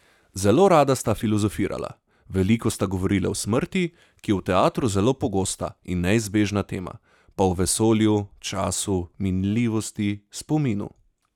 Zelo rada sta filozofirala, veliko sta govorila o smrti, ki je v teatru zelo pogosta in neizbežna tema, pa o vesolju, času, minljivosti, spominu.